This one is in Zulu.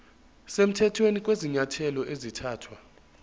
semthethweni kwezinyathelo ezathathwa